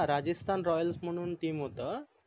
ह राजस्तान रॉयल म्हणून team होत